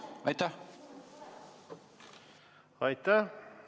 Aitäh!